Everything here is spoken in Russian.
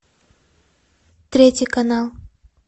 третий канал